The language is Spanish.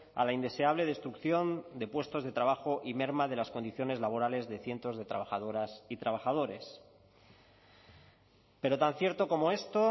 a la indeseable destrucción de puestos de trabajo y merma de las condiciones laborales de cientos de trabajadoras y trabajadores pero tan cierto como esto